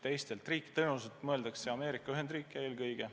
Teiste riikide all te tõenäoliselt mõtlete Ameerika Ühendriike eelkõige.